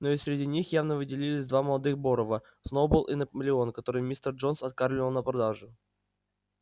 но и среди них явно выделялись два молодых борова сноуболл и наполеон которых мистер джонс откармливал на продажу